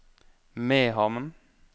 Mehamn